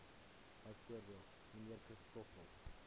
bv mnr christoffel